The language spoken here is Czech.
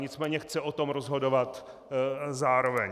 Nicméně chce o tom rozhodovat zároveň.